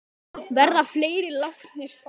Verða fleiri látnir fara?